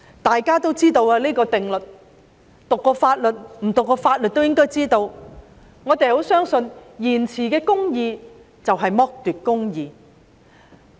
大家都知道這個定律——沒有讀過法律的人理應也知道——我們十分相信，延遲的公義就是剝奪的公義。